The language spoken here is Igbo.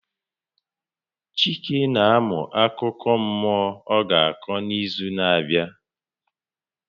Chike na amụ akụkọ mmụọ ọ ga-akọ n'izu na-abịa.